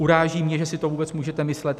Uráží mě, že si to vůbec můžete myslet.